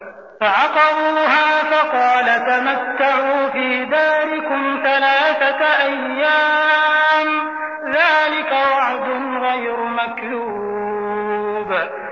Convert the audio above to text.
فَعَقَرُوهَا فَقَالَ تَمَتَّعُوا فِي دَارِكُمْ ثَلَاثَةَ أَيَّامٍ ۖ ذَٰلِكَ وَعْدٌ غَيْرُ مَكْذُوبٍ